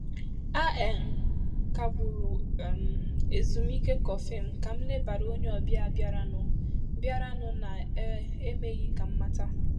A um kagburu um m ezumike kọfị m ka m lebara onye ọbịa bịara nụ bịara nụ ná um emeghị ka mmata.